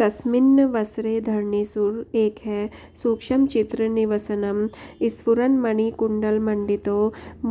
तस्मिन्नवसरे धरणीसुर एकः सूक्ष्मचित्रनिवसनं स्फुरन्मणिकुण्डलमण्डितो